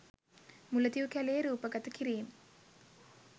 මුලතිව් කැලයේ රූපගත කිරීම්